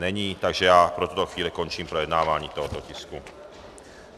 Není, takže já pro tuto chvíli končím projednávání tohoto tisku.